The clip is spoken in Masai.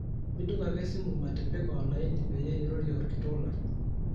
midung ake esimu maatipika olaini peyie irorie olkitok lang